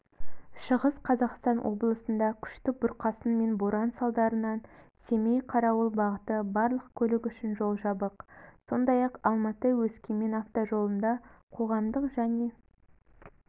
шығыс қазақстан облысында күшті бұрқасын мен боран салдарынан семей қарауыл бағыты барлық көлік үшін жол жабық сондай-ақ алматы-өскемен автожолында қоғамдық және